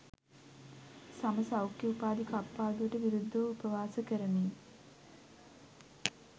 සම සෞඛ්‍ය උපාධි කප්පාදුවට විරුද්ධව උපවාස කරමින්